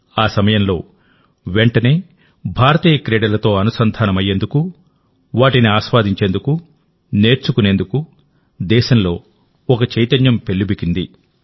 ఆ సమయంలో వెంటనేభారతీయ క్రీడలతో అనుసంధానమయ్యేందుకు వాటిని ఆస్వాదించేందుకు నేర్చుకునేందుకు దేశంలో ఒక చైతన్యం పెల్లుబికింది